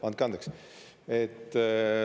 Andke andeks!